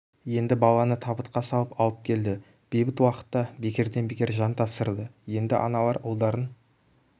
енді баланы табытқа салып алып келді бейбіт уақытта бекерден бекер жан тапсырды енді аналар ұлдарын